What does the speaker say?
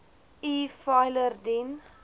e filer dien